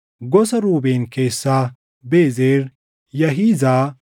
gosa Ruubeen keessaa Bezer, Yaahizaa,